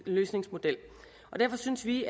løsningsmodel derfor synes vi